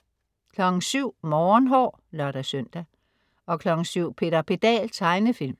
07.00 Morgenhår (lør-søn) 07.00 Peter Pedal. Tegnefilm